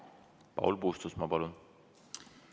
Paul Puustusmaa, palun!